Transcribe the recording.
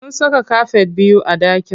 Sun saka kafet biyu a ɗakin.